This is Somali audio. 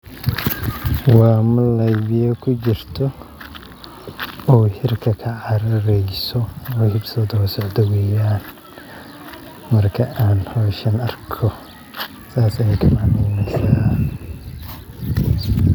Waa malay biya kujito oo hirka kacarareyso oo hibsato daweylaha marka aan hawshan arko saas ay kamacneynesa.